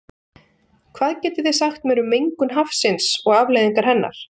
Hvað getið þið sagt mér um mengun hafsins og afleiðingar hennar?